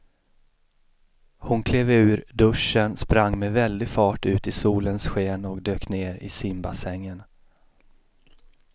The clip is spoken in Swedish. Hon klev ur duschen, sprang med väldig fart ut i solens sken och dök ner i simbassängen.